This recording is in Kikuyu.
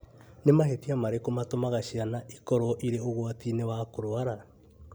Nĩ mahĩtia marĩkũ matũmaga ciana ikorũo irĩ ũgwati-inĩ wa kũrũara?